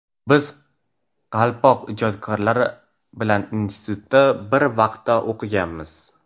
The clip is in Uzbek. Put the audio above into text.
Biz ‘Qalpoq’ ijodkorlari bilan institutda bir vaqtda o‘qiganmiz.